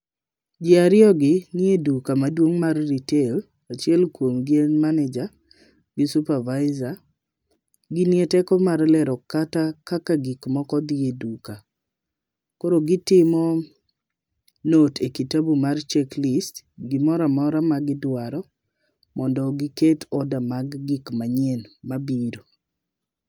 Jii ariyo gi nie duka maduong' mar retail. Achiel kuomgi en manager gi supervisor .Ginie teko mar lero kata kaka gik moko dhi e duka. Koro gitimo note e kitabu mar checklist gimoramora ma gidwaro mondo giket order mar gik manyien mabiro.